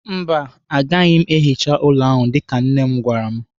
Mba, agaghị m ehicha ụlọ ahụ dịka nne m gwara m.